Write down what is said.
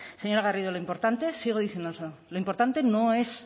señora garrido lo importante sigo diciéndolo lo importante no es